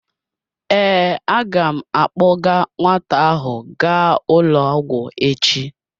Ee, a ga m akpọga nwata ahụ gaa ụlọ ọgwụ echi.